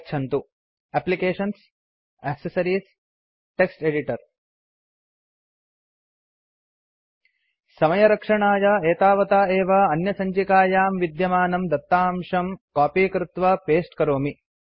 गच्छन्तु एप्लिकेशन्सग्टक्सेस एडिटर समयरक्षणाय एतावता एव अन्यसञ्चिकायां विद्यमानं दत्ताशं कॉपी कृत्वा पस्ते करोमि